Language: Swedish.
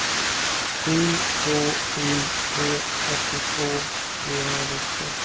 sju två sju tre fyrtiotvå trehundranitton